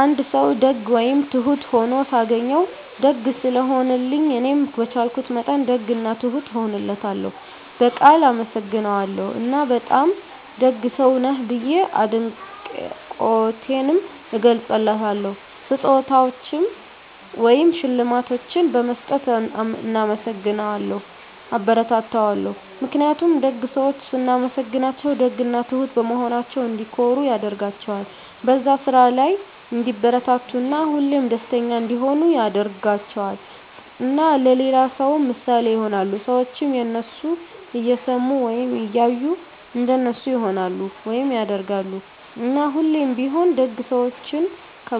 አንድ ሰዉ ደግ ወይም ትሁት ሁኖ ሳገኘዉ፤ ደግ ስለሆነልኝ እኔም በቻልኩት መጠን ደግ እና ትሁት እሆንለታለሁ፣ በቃል አመሰግነዋለሁ እና በጣም ደግ ሰዉ ነህ ብዬ አድናቆቴንም እገልፅለታለሁ። ስጦታዎችን ወይም ሽልማቶችን በመስጠት እናመሰግነዋለሁ (አበረታታዋለሁ) ። ምክንያቱም ደግ ሰዎችን ስናመሰግናቸዉ ደግ እና ትሁት በመሆናቸዉ እንዲኮሩ ያደርጋቸዋል፣ በዛ ስራ ላይ እንዲበረታቱ እና ሁሌም ደስተኛ እንዲሆኑ ያደርጋቸዋል። እና ለሌላ ሰዉ ምሳሌ ይሆናሉ። ሰዎችም የነሱን እየሰሙ ወይም እያዩ እንደነሱ ይሆናሉ (ያደርጋሉ)። እና ሁሌም ቢሆን ደግ ሰዎችን